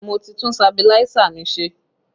Mo ti tún sabiláísà mi ṣe